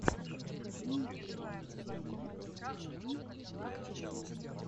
покажи мне первую серию эван тьюб роу